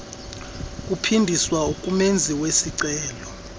kuphindiswa kumenzi wesicelo